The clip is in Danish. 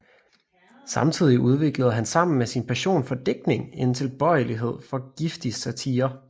Samtidigt udviklede han sammen med sin passion for digtning en tilbøjelighed for giftig satire